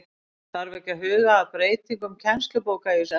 Þarf ekki að huga að breytingum kennslubóka í þessu efni?